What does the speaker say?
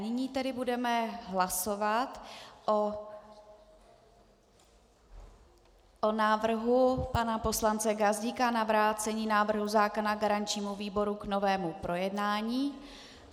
Nyní tedy budeme hlasovat o návrhu pana poslance Gazdíka na vrácení návrhu zákona garančnímu výboru k novému projednání.